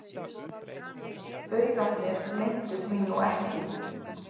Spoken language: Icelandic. Baugarnir leyndu því nú ekki.